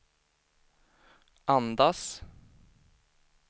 andas